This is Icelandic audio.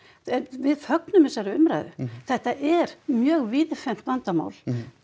við fögnum þessari umræðu þetta er mjög vandamál